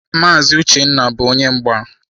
Maazi Uchenna bu onye mgba.